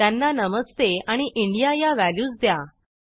त्यांना नमस्ते आणि इंडिया या व्हॅल्यूज द्या